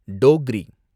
Dogri